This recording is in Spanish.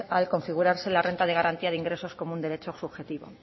al configurarse la renta de garantía de ingresos como un derecho subjetivo